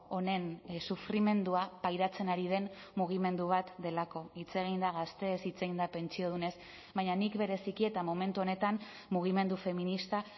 honen sufrimendua pairatzen ari den mugimendu bat delako hitz eginda gazteez hitz egin da pentsiodunez baina nik bereziki eta momentu honetan mugimendu feminista